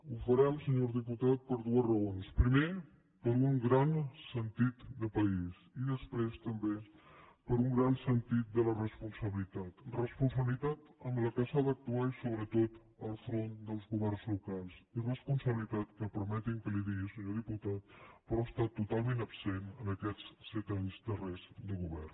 ho farem senyor diputat per dues raons primer per un gran sentit de país i després també per un gran sentit de la responsabilitat responsabilitat amb la qual s’ha d’actuar i sobretot al front dels governs locals i responsabilitat que permeti’m que li ho digui senyor diputat però que ha estat totalment absent en aquests set anys darrers de govern